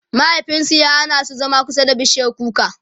mahaifinsu ya Hana su zama kusa da bishiyar kuka